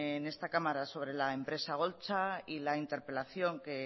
en esta cámara sobre la empresa holtza y la interpelación que